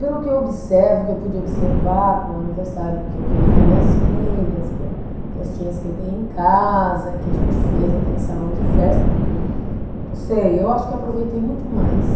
Pelo que eu observo, que eu pude observar com o aniversário que eu, que eu levei minhas filhas, que eu, festinhas que eu dei em casa, que a gente fez até em salão de festa, não sei, eu acho que eu aproveitei muito mais.